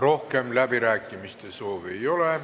Rohkem läbirääkimiste soovi ei ole.